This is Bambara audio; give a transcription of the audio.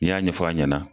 N'i y'a ɲɛfɔ a ɲɛna